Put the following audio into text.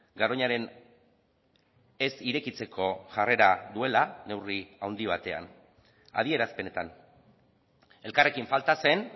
garoñaren ez irekitzeko jarrera duela neurri handi batean adierazpenetan elkarrekin falta zen